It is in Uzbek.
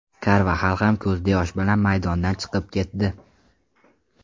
Karvaxal ham ko‘zda yosh bilan maydondan chiqib ketdi.